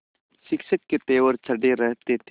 शिक्षक के तेवर चढ़े रहते थे